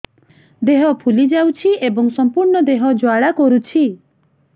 ଦେହ ଫୁଲି ଯାଉଛି ଏବଂ ସମ୍ପୂର୍ଣ୍ଣ ଦେହ ଜ୍ୱାଳା କରୁଛି